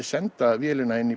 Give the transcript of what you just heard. senda vélina í